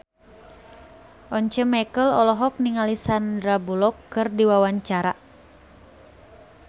Once Mekel olohok ningali Sandar Bullock keur diwawancara